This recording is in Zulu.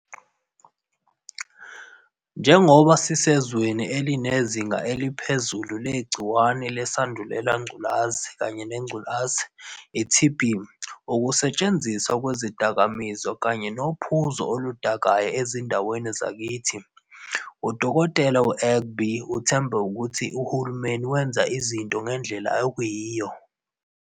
Njengoba sisezweni elinezinga eliphezulu legciwane leSandulela Ngculazi kanye neNgculazi, i-TB, ukusetshenziswa kwezidakamizwa kanye nophuzo oluda-kayo ezindaweni zakithi, u-Dkt. u-Egbe uthemba ukuthi uhulumeni wenze izinto ngendlela eyiyo.